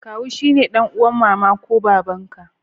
Kawu sune dan'uwan mama ko baba'n ka.